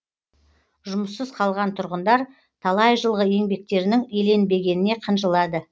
жұмыссыз қалған тұрғындар талай жылғы еңбектерінің еленбегеніне қынжылады